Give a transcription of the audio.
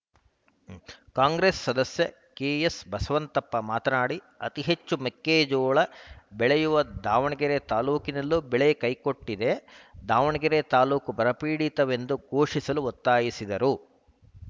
ಕಾಂಗ್ರೆಸ್‌ ಸದಸ್ಯ ಕೆಎಸ್‌ಬಸವಂತಪ್ಪ ಮಾತನಾಡಿ ಅತೀ ಹೆಚ್ಚು ಮೆಕ್ಕೆಜೋಳ ಬೆಳೆಯುವ ದಾವಣಗೆರೆ ತಾಲೂಕಿನಲ್ಲೂ ಬೆಳೆ ಕೈಕೊಟ್ಟಿದೆ ದಾವಣಗೆರೆ ತಾಲೂಕು ಬರ ಪೀಡಿತವೆಂದು ಘೋಷಿಸಲು ಒತ್ತಾಯಿಸಿದರು